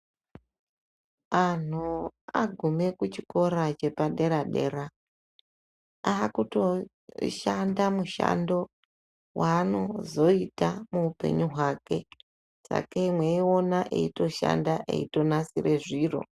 Anhu agume kuchikora chepadera dera akutoshanda mushando waanozoita muupenyu hwake meitoona eitoshanda eitonasira zviro